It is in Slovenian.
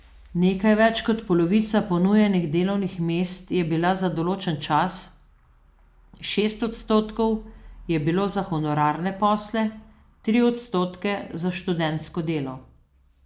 Nekaj več kot polovica ponujenih delovnih mest je bila za določen čas, šest odstotkov je bilo za honorarne posle, tri odstotke za študentsko delo.